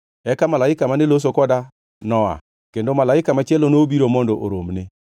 Eka malaika mane loso koda noa, kendo malaika machielo nobiro mondo oromne